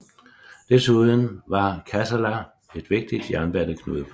Desuden var Kassala et vigtigt jernbaneknudepunkt